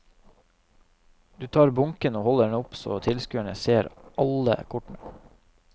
Du tar bunken og holder den opp så tilskueren ser alle kortene.